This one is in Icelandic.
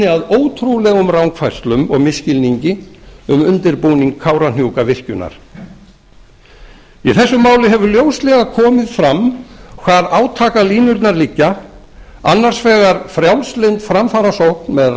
að ótrúlegum rangfærslum og misskilningi um undirbúning kárahnjúkavirkjunar í því máli hefur ljóslega komið fram hvar átakalínurnar liggja annars vegar frjálslynd framfarasókn með